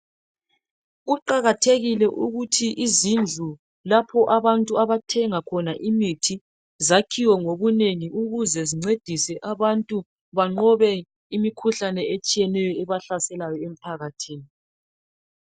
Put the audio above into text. kuqakathekile ukuthi izindlu lapho abantu abathenga khona imithi zakhiwe ngobunene ukuze zincedise abantu banqobe imikhuhlane etshiyeneyo ebahlaselayo emphakathini